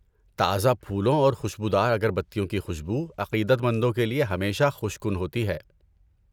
تازہ پھولوں اور خوشبودار اگربتیوں کی خوشبو عقیدت مندوں کے لیے ہمیشہ خوش کن ہوتی ہے۔